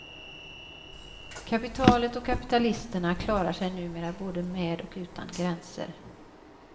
Kapitalet och kapitalisterna klarar sig numera både med och utan gränser.